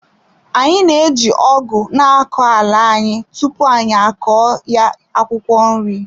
Anyị na-eji ọgu na-akọ ala anyị tupu anyị akọ ya akwụkwọ nri.